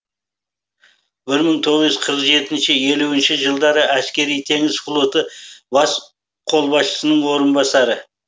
бір мың тоғыз жүз қырық жетінші елуінші жылдары әскери теңіз флоты бас қолбасшысының орынбасары